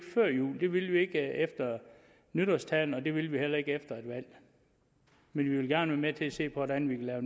før jul det ville vi ikke efter nytårstalen det vil vi heller ikke efter et valg men vi vil gerne være med til at se på hvordan vi kan lave